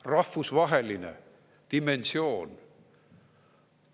Rahvusvaheline dimensioon.